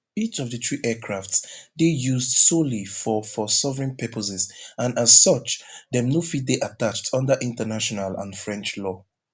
each of di three aircrafts dey used solely for for sovereign purposes and as such dem no fit dey attached under international and french law